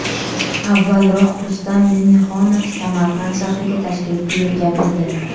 Avvalroq Rustam Minnixonov Samarqand shahriga tashrif buyurgan edi .